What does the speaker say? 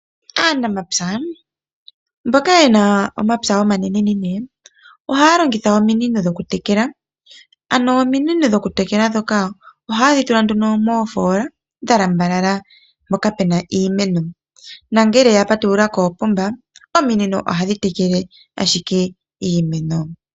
Aanamapya mboka yena omapya omanene nene ohaya longitha ominino dhoku tekela. Ano ominino dhoku tekela ndhoka ohayedhi tula moofola dha lambalala mpoka puna iimeno . Nongele ya patulula koopomba ominino ohadhi tekele ashike iimeno.